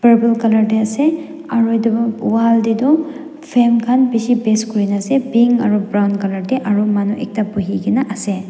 purple colour dey ase aru wall deydu fame khan bishi paste kurna ase pink aru brown colour ke aru manu ekta buhi kena ase.